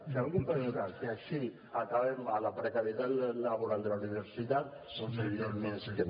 si algú pensa que així acabem amb la precarietat laboral de la universitats doncs evidentment és que no